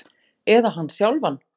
Eða hann sjálfan?